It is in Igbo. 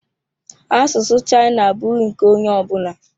China language is not for everybody.